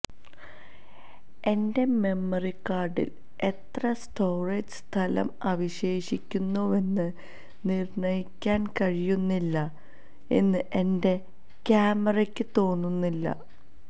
എന്റെ മെമ്മറി കാർഡിൽ എത്ര സ്റ്റോറേജ് സ്ഥലം അവശേഷിക്കുന്നുവെന്ന് നിർണ്ണയിക്കാൻ കഴിയുന്നില്ല എന്ന് എന്റെ ക്യാമറയ്ക്ക് തോന്നുന്നില്ല